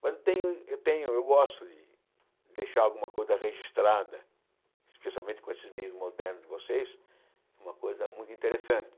Mas tenho tenho eu gosto de deixar alguma coisa registrada, especialmente com esses meios modernos de vocês, uma coisa muito interessante.